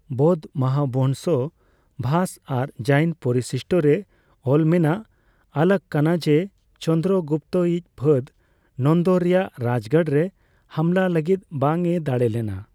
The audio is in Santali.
ᱵᱳᱫᱷ ᱢᱚᱦᱟᱵᱚᱸᱝᱥᱚ ᱵᱷᱟᱥ ᱟᱨ ᱡᱟᱤᱱ ᱯᱚᱨᱤᱥᱤᱥᱴ ᱨᱮ ᱚᱞ ᱢᱮᱱᱟᱜ ᱟᱞᱟᱹᱜ ᱠᱟᱱᱟ ᱡᱮ ᱪᱚᱱᱫᱚᱨᱚᱜᱩᱯᱛᱚ ᱤᱡ ᱯᱷᱟᱹᱫᱽ ᱱᱚᱱᱫᱚ ᱨᱮᱭᱟᱜ ᱨᱟᱡᱜᱟᱲ ᱨᱮ ᱦᱟᱢᱦᱟ ᱞᱟᱹᱜᱤᱫ ᱵᱟᱝ ᱮ ᱫᱟᱲᱮ ᱞᱮᱱᱟ᱾